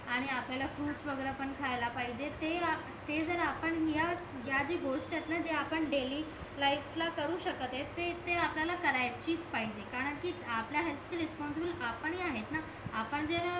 आणि आपल्याला फ्रुटस वगैरे पण खायला पाहिजे ते ते जर आपण ह्या ह्या जी गोष्ट आहेतना जे अपन डैली लाईफ ला करू शकत ते ते अप्लाय करायचीच पाहिजे कारण कि आपल्या हेअल्थ ची रेस्पॉन्सिबल आपणही आहेतना आपण जे